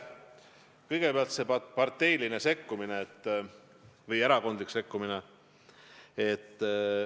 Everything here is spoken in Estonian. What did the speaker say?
Kõigepealt sellest parteilisest sekkumisest või erakondlikust sekkumisest.